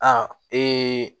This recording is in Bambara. A